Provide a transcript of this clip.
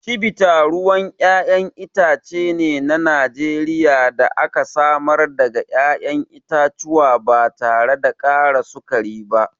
Chivita ruwan ƴaƴan itace ne na Najeriya da aka samar daga ƴaƴan itatuwa ba tare da ƙara sukari ba.